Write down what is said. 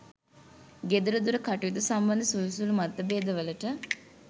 ගෙදර දොර කටයුතු සම්බන්ධ සුළු සුළු මතභේදවලට